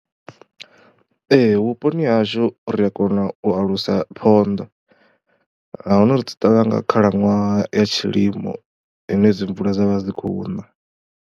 Ee vhuponi hashu ri a kona u alusa phonḓa, hono ro dzi ṱavha nga khalaṅwaha ya tshilimo ine dzi mvula dza vha dzi khou na.